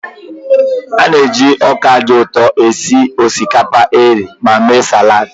A na-eji ọka dị ụtọ esi osikapa eghe ma mee salad.